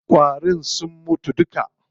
Ƙwarin sun mutu duka.